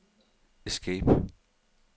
escape